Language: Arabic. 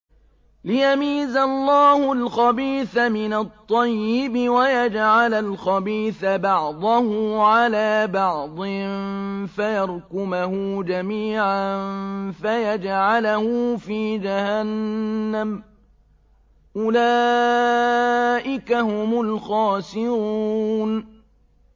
لِيَمِيزَ اللَّهُ الْخَبِيثَ مِنَ الطَّيِّبِ وَيَجْعَلَ الْخَبِيثَ بَعْضَهُ عَلَىٰ بَعْضٍ فَيَرْكُمَهُ جَمِيعًا فَيَجْعَلَهُ فِي جَهَنَّمَ ۚ أُولَٰئِكَ هُمُ الْخَاسِرُونَ